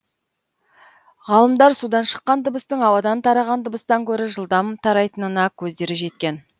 ғалымдар судан шыққан дыбыстың ауадан тараған дыбыстан гөрі жылдам тарайтынына көздері жеткен